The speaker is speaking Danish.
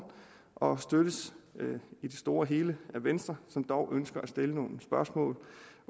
og støttes i det store og hele af venstre som dog ønsker at stille nogle spørgsmål